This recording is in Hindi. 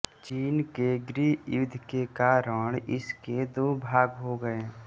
चीन के गृह युद्ध के कारण इसके दो भाग हो गये